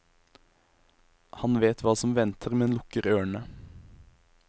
Han vet hva som venter, men lukker ørene.